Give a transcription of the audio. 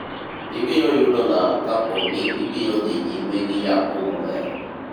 ibiyo yudo lal kapo ni ibiro dhi nyime gi yapo molewo